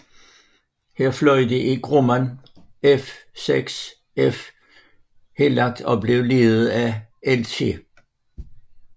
Her fløj de i Grumman F6F Hellcat og blev ledet af Lt